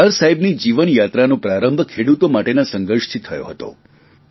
સરદાર સાહેબની જીવનયાત્રાનો પ્રારંભ ખેડૂતો માટેના સંઘર્ષથી થયો હતો